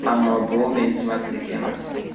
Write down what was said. Ammo bu mensimaslik emas.